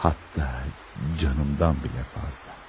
Hətta canımdan belə fazla.